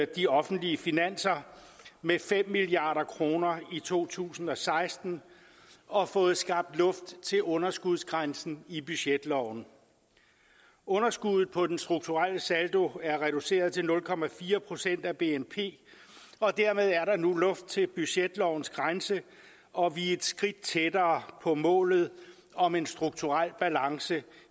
de offentlige finanser med fem milliard kroner i to tusind og seksten og fået skabt luft til underskudsgrænsen i budgetloven underskuddet på den strukturelle saldo er reduceret til nul procent af bnp og dermed er der nu luft til budgetlovens grænse og vi er et skridt tættere på målet om en strukturel balance